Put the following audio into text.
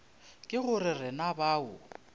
ke go re na bao